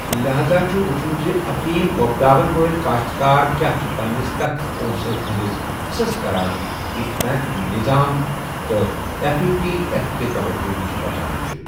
لہزا چھٖ وُچھُن زِ افیم ووپداون وٲلہِ كاشتكار كیاہ چھِ پننِس تتھ پونٛسس ہندِس حِصس كران یٗس بینك نِظام تہٕ تہٕ ایٚف اے ٹی ایٚف کہِ توجہ نِشہِ بَچان چھِ ۔